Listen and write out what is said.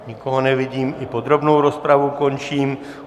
Nikoho nevidím, i podrobnou rozpravu končím.